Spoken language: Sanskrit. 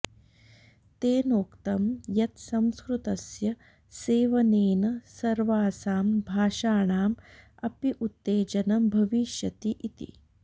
तेनोक्तम् यत् संस्कृतस्य सेवनेन सर्वासां भाषाणाम् अपि उत्तेजनं भविष्यति इति